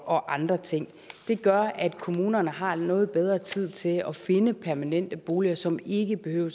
og andre ting det gør at kommunerne har noget bedre tid til at finde permanente boliger som ikke behøver